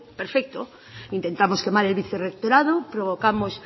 perfecto intentamos quemar el vicerrectorado provocamos